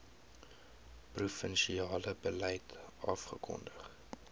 provinsiale beleid afgekondig